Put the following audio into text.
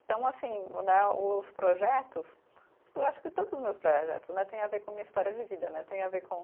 Então, assim né, os projetos, eu acho que todos os meus projetos né têm a ver com a minha história de vida né, tem a ver com.